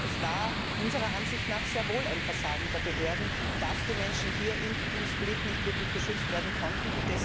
Aber es war unserer Ansicht nach sehr wohl ein Versagen der Behörden, dass die Menschen in Split nicht wirklich geschützt werden konnten.